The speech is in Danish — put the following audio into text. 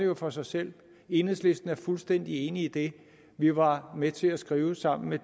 jo for sig selv enhedslisten er fuldstændig enig i det vi var med til at skrive sammen med